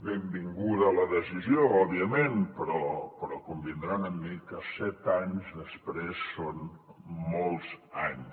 benvinguda la decisió òbviament però convindran amb mi que set anys després són molts anys